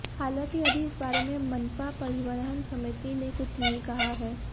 हालांकि अभी इस बारे में मनपा परिवहन समिति ने कुछ नहीं कहा है